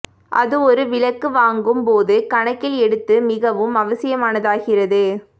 அது ஒரு விளக்கு வாங்கும் போது கணக்கில் எடுத்து மிகவும் அவசியமானதாகிறது